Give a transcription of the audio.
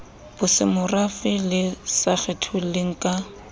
bosemorafe le sa kgetholleng ka